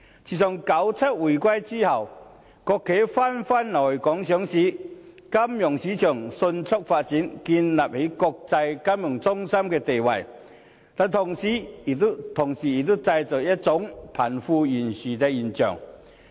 自九七回歸後，國企紛紛來港上市，金融市場迅速發展，建立起國際金融中心的地位，但同時亦製造出貧富懸殊的現象。